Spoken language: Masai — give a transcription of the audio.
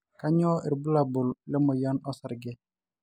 kanyio irbulabul le moyian osarge?